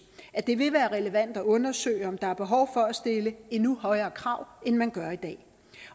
at det vil være relevant at undersøge om der er behov for at stille endnu højere krav end man gør i dag